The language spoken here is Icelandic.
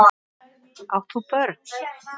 Átt þú börn?